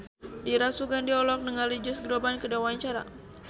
Dira Sugandi olohok ningali Josh Groban keur diwawancara